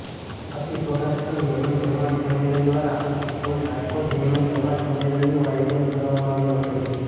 અતિ સૌરાષ્ટ્ર મેમન જમાત સંમેલન દ્વારા ઓલ રાજકોટ મેમન જમાત સંમેલનનું આયોજન કરવામાં આવ્યું હતું